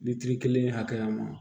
Ni kelen hakɛya ma